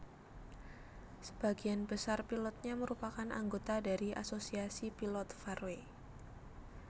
Sebagian besar pilotnya merupakan anggota dari Asosiasi Pilot Faroe